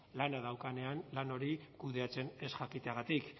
lana daukanean lan horiek kudeatzen ez jakiteagatik